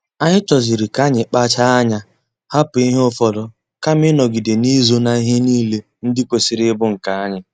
Anyi choziri ka anyị kpacha anya hapụ ihe ụfọdụ kama ịnọgide n'izo na ihe niile ndị kwesịrị ịbụ nke anyị